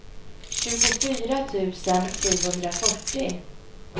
tjugofyra tusen sjuhundrafyrtio